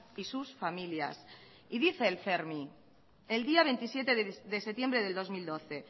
y sus familias y dice el fermi el día veintisiete de septiembre del dos mil doce